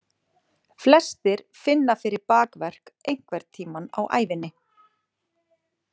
Flestir finna fyrir bakverk einhvern tímann á ævinni.